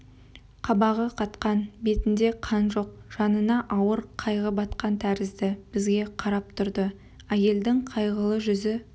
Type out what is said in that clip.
қабағы қатқан бетінде қан жоқ жанына ауыр қайғы батқан тәрізді бізге қарап тұрды әйелдің қайғылы жүзі